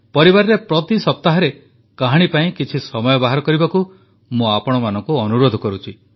ପରିବାରରେ ପ୍ରତି ସପ୍ତାହରେ କାହାଣୀ ପାଇଁ କିଛି ସମୟ ବାହାର କରିବାକୁ ମୁଁ ଆପଣମାନଙ୍କୁ ଅନୁରୋଧ କରୁଛି